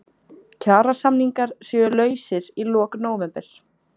Kjarasamningar séu lausir í lok nóvember